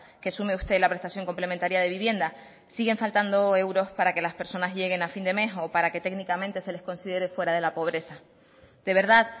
que sume usted la prestación complementaria de vivienda siguen faltando euros para que las personas lleguen a fin de mes o para que técnicamente se les considere fuera de la pobreza de verdad